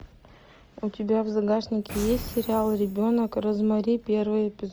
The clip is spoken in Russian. у тебя в загашнике есть сериал ребенок розмари первый эпизод